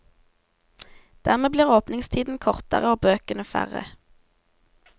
Dermed blir åpningstiden kortere og bøkene færre.